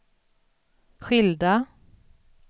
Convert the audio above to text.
skilda